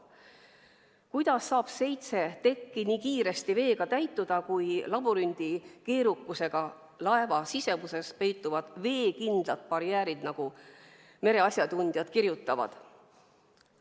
Kuidas saab seitse tekki nii kiiresti veega täituda, kui labürindi keerukusega laeva sisemuses peituvad veekindlad barjäärid, nagu mereasjatundjad kirjutavad?